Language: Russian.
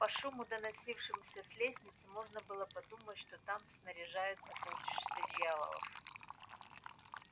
по шуму доносившемуся с лестницы можно было подумать что там снаряжаются полчища дьяволов